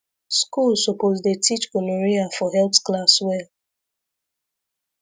school suppose dey teach gonorrhea for health class well